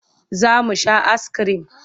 Za mu sha askirim.